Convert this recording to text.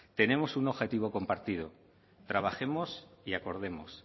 tenemos un objetivo compartido trabajemos y acordemos